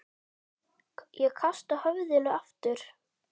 Ég kasta höfðinu aftur.